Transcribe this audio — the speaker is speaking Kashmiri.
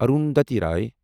اروندھتی روے